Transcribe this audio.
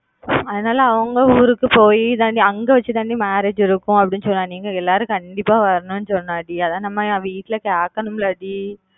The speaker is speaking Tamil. அதனால அவங்க ஊருக்கு பொய் தான் டி அங்க வெச்சு தான் டி marriage இருக்கும் அப்பிடின்னு சொன்னா நீங்க எல்லாரும் கண்டிப்பா வரணும் சொன்னா டி அதான் நம்ம வீட்டுல கேக்கணும் ல டி